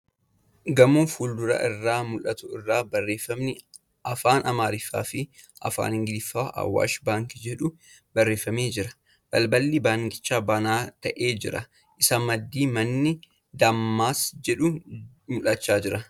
Gamoo fuulduraa irraa mul'atu irra barreeffamni Afaan Amaariffaa fi Afaan Ingiliffaan ' Awwaash baankii ' jedhu barreeffamee jira. Balballi baankichaa bana taa'aa jira. Isa maddii manni Daamaas jedhu mul'achaa jira.